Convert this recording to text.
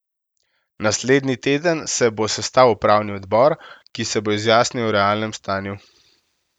Naslednji teden se bo sestal upravni odbor, ki se bo izjasnil o realnem stanju.